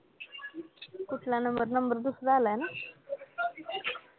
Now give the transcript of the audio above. कुठला number, number दूसरा आला आहे ना?